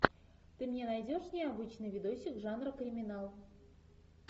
ты мне найдешь необычный видосик жанра криминал